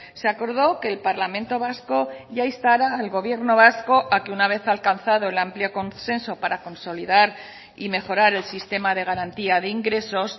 se acordó que el parlamento vasco ya instara al gobierno vasco a que una vez alcanzado el amplio consenso para consolidar y mejorar el sistema de garantía de ingresos